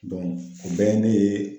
o bɛɛ ye ne ye